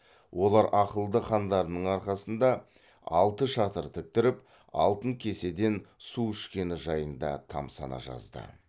олар ақылды хандарының арқасында алты шатыр тіктіріп алтын кеседен су ішкені жайында тамсана жазды